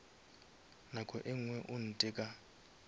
nako e ngwe o ntheka